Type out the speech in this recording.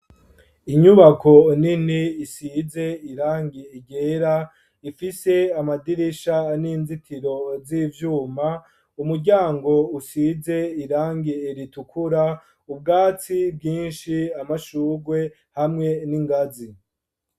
Inyubako nini isize irangi ryera ifise amadirisha n'inzitiro z'ivyuma umuryango usize irangi iritukura .Ubwatsi bwinshi amashurwe hamwe n'ingazi.